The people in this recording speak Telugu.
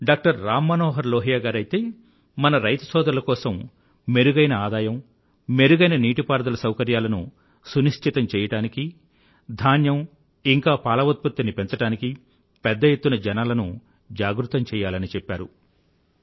డాక్టర్ రామ్ మనోహర్ లోహియా గారైతే మన రైతు సోదరుల కోసం మెరుగైన ఆదాయం మెరుగైన నీటిపారుదల సౌకర్యాలను సునిశ్చితం చెయ్యడానికీ ధాన్యం ఇంకా పాల ఉత్పత్తిని పెంచడానికి పెద్ద ఎత్తున జనాలను జాగృతం చెయ్యాలని చెప్పారు